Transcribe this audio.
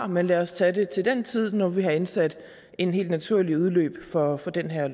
men lad os tage det til den tid når vi har indsat en helt naturlig udløbsdato for den her